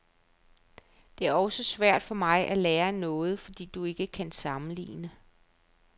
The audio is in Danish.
Det er også svært for mig at lære noget, fordi du ikke kan sammenligne.